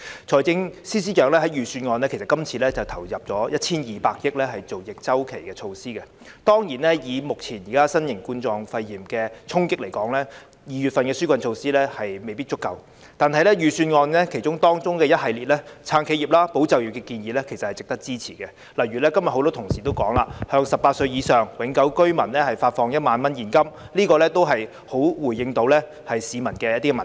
財政司司長在今次預算案中投入 1,200 億元推出逆周期措施，當然，以目前新型冠狀肺炎的衝擊來說 ，2 月份提出的紓困措施未必足夠，但預算案中一系列"撐企業、保就業"的建議，其實是值得支持的，例如今天很多同事也提到，向18歲或以上永久性居民發放1萬元現金，這也能夠回應市民的民意。